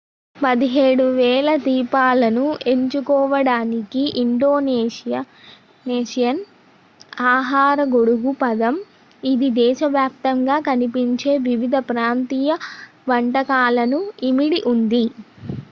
17,000 ద్వీపాలను ఎంచుకోవడానికి ఇండోనేషియన్ ఆహార గొడుగు పదం ఇది దేశ వ్యాప్తంగా కనిపించే వివిధ ప్రాంతీయ వంటకాలను ఇమిడి ఉంది